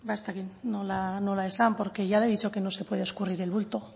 ez dakit nola esan porque ya la he dicho que no se puede escurrir el bulto